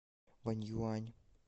ваньюань